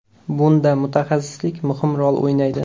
Bunda mutaxassislik muhim rol o‘ynaydi.